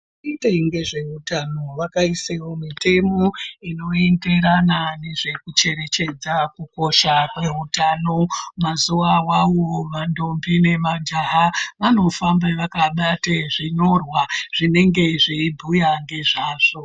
Vanoitewo ngezveutano vakaisawo mitemo inoenderana nezvekucherechedza kukosha kwezveutano. Mazuwa awawo mandombi nemajaha, vanofamba vakabate zvinyorwa zvinenge zveibhuya ngezvazvo.